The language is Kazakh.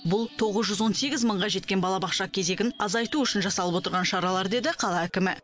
бұл тоғыз жүз он сегіз мыңға жеткен балабақша кезегін азайту үшін жасалып отырған шаралар деді қала әкімі